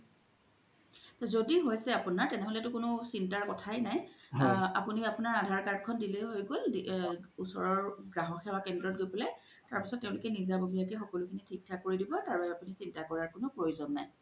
জদি হইছে আপুনাৰ তেনেহ'লে তো একো চিন্তাৰ কথাই নাই আপুনি আপুনাৰ আধাৰ card খন দিলেই হয় গ'ল ওচৰৰ গ্ৰাহ্ক কেন্দ্ৰত গই পেলাই তাৰ পিছ্ত তেওলোকে নিজা ভোবিযা কে সকোলো বোৰ থিক কৰি দিব আৰু আপুনৰ চিন্তা কোৰাৰ কোনো প্ৰয়োজ্ন নাই